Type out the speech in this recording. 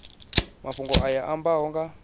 mafhungo aya a ambaho nga